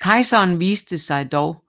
Kejseren viste sig dog